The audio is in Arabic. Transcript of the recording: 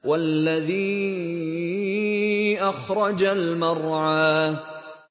وَالَّذِي أَخْرَجَ الْمَرْعَىٰ